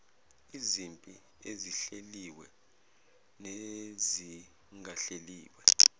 izimpi ezihleliwe nezingahleliwe